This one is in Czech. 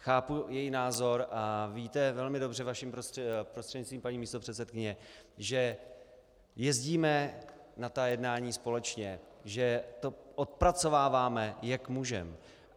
Chápu její názor a víte velmi dobře, vašim prostřednictvím, paní místopředsedkyně, že jezdíme na ta jednání společně, že to odpracováváme, jak můžeme.